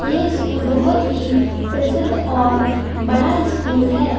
ये स्कूल बहोत ही प्रसिद्ध और बड़ा है।